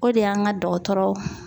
O de y'an ka dɔgɔtɔrɔ